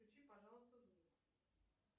включи пожалуйста звук